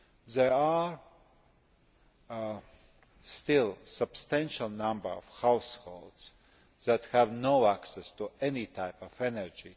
There are still a substantial number of households today that have no access to any type of energy.